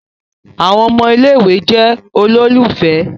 Àwọn ọmọ ilé-ìwé jẹ ololufẹ.